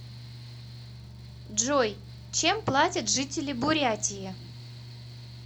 джой чем платят жители бурятии